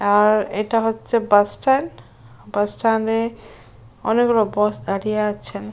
আর এটা হচ্ছে bus stand | আর বাস স্ট্যান্ড অনেকগুলো বাস দাঁড়িয়ে আছেন।